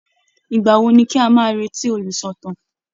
Ìgbà wo ni ká máa retí olùsọ̀tàn?